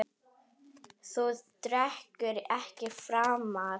Þú drekkur ekki framar.